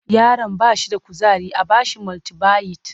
Yaron ba shi da kuzari a ba shi multibayit